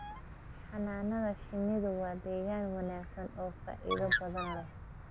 Xannaanada shinnidu waa deegaan wanaagsan oo faa'iido badan leh.